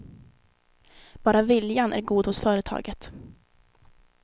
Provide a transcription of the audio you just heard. Bara viljan är god hos företaget.